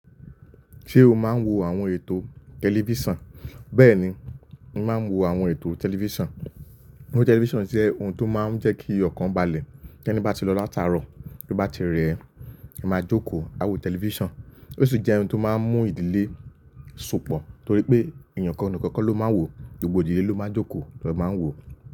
Ṣé o máa ń wo àwọn ètò tẹlifísàn? Bẹ́ẹ̀ni, mo máa ń wo àwọn ètò tẹlifísàn. Ohun tẹlifísàn jẹ́ ohun tó máa ń jẹ́ kí ọ̀kan balẹ̀. Tẹni bá ti lọ látàárọ̀, tó bá ti rẹ̀ ẹ, ẹ máa jókòó a wo tẹlifísàn. Ó sì jẹ́ ohun tó máa ń mú ìdílé sopọ̀ torí pé èèyàn kan nìkan kọ́ ló máa ń wò ó, gbogbo ìdílé ló máa ń jókòó ló máa ń wò ó.